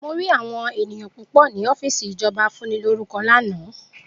Mo rí àwọn ènìyàn púpò ni ọ́fìsì ìjọba afúnilórúkọ lana